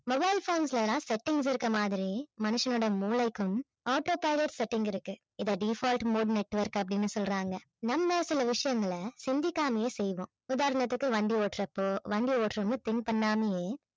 mobile phones ல எல்லாம் settings இருக்கிற மாதிரி மனுஷனுடைய மூளைக்கும் auto pilot setting இருக்கு இதை default mode network அப்படின்னு சொல்றாங்க நம்ம சில விஷயங்களை சிந்திக்காமயே செய்வோம் உதாரணத்துக்கு வண்டி ஓட்டுறப்போ வண்டி ஓட்டுறவங்க think பண்ணாமயே